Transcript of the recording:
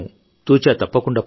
ఇది ఎంతో భయానకమైన పరిస్థితి